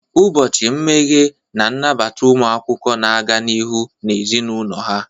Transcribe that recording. Ụbọchị mmeghe na-anabata ụmụ akwụkwọ na-aga n'ihu na ezinụlọ ha.